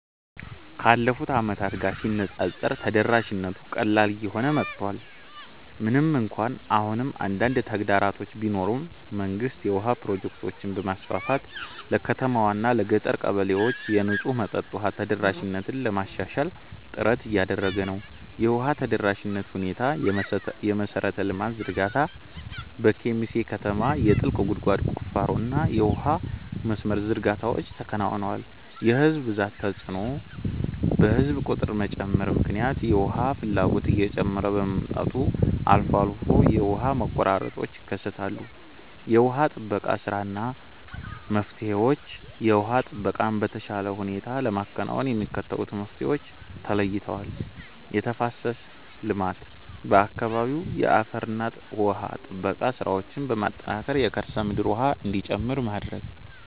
ካለፉት ዓመታት ጋር ሲነፃፀር ተደራሽነቱ ቀላል እየሆነ መጥቷል። ምንም እንኳን አሁንም አንዳንድ ተግዳሮቶች ቢኖሩም፣ መንግስት የውሃ ፕሮጀክቶችን በማስፋፋት ለከተማዋና ለገጠር ቀበሌዎች የንጹህ መጠጥ ውሃ ተደራሽነትን ለማሻሻል ጥረት እያደረገ ነው። የውሃ ተደራሽነት ሁኔታየመሠረተ ልማት ዝርጋታ፦ በኬሚሴ ከተማ የጥልቅ ጉድጓድ ቁፋሮና የውሃ መስመር ዝርጋታዎች ተከናውነዋል። የሕዝብ ብዛት ተጽዕኖ፦ በሕዝብ ቁጥር መጨመር ምክንያት የውሃ ፍላጎት እየጨመረ በመምጣቱ አልፎ አልፎ የውሃ መቆራረጦች ይከሰታሉ። የውሃ ጥበቃ ሥራና መፍትሄዎችየውሃ ጥበቃን በተሻለ ሁኔታ ለማከናወን የሚከተሉት መፍትሄዎች ተለይተዋል፦ የተፋሰስ ልማት፦ በአካባቢው የአፈርና ውሃ ጥበቃ ሥራዎችን በማጠናከር የከርሰ ምድር ውሃ እንዲጨምር ማድረግ።